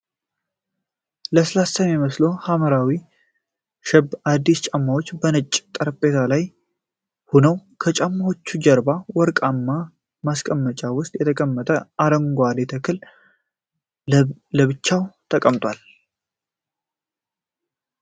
ለስላሳ የሚመስሉ ሐምራዊ ሸብ አዲዳስ ጫማዎች በነጭ ጠረጴዛ ላይ ሆነው፣ ከጫማዎቹ ጀርባ በወርቃማ ማስቀመጫ ውስጥ የተቀመጠ አረንጓዴ ተክል ለብቻው ቆሟል።